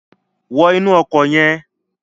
Wọ inú ọkọ̀ yẹn.